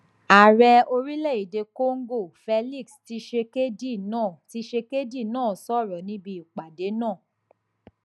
ààrẹ orílẹèdè congo félix tshisekedi náà tshisekedi náà sọrọ níbi ìpàdé náà